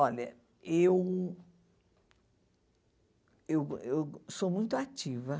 Olha, eu eu eu sou muito ativa.